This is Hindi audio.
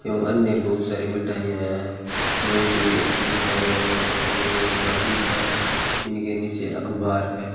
अन्य बहुत सारी मिठाईयां हैं बहुत ही अच्छी मिठाईयां है खाने में स्वादिष्ट है इनके नीचे अखबार है।